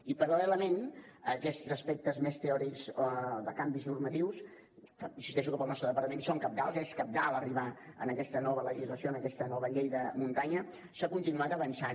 i paral·lelament a aquests aspectes més teòrics de canvis normatius que insisteixo que per al nostre departament són cabdals és cabdal arribar a aquesta nova legislació a aquesta nova llei de muntanya s’ha continuat avançant